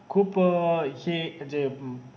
खूप अं हे जे हम्म